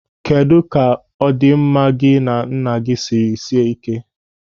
Kedụ ka ọdịnamma gị na nna gị sịrị sie ị́ké?